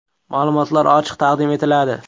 Ma’lumotlar ochiq taqdim etiladi.